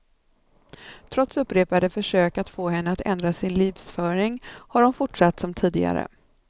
Trots upprepade försök att få henne att ändra sin livsföring har hon fortsatt som tidigare.